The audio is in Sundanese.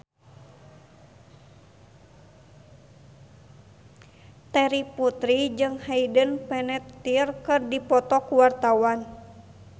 Terry Putri jeung Hayden Panettiere keur dipoto ku wartawan